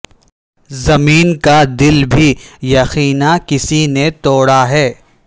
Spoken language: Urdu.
زمیں کا دل بھی یقینا کسی نے توڑا ہے